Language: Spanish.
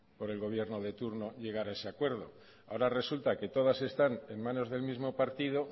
por el gobierno de turno llegar a ese acuerdo ahora resulta que todas están en manos del mismo partido